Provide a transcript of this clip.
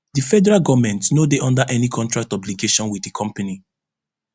di federal goment no dey under any contract obligation wit di company